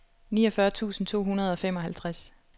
niogfyrre tusind to hundrede og femoghalvtreds